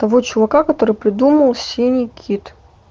таво чувака который придумал синий кит